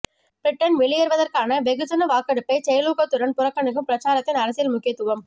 Britain வெளியேறுவதற்கான வெகுஜன வாக்கெடுப்பைச் செயலூக்கத்துடன் புறக்கணிக்கும் பிரச்சாரத்தின் அரசியல் முக்கியத்துவம்